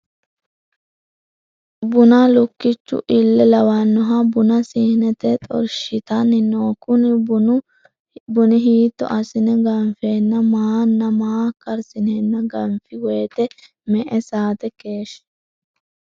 Buna lukichu ille lawanoha buna siinete xorshitani no kuni buni hiito asine ganfeena maana maa karsineena ganfi woyite me`e sate keeshi.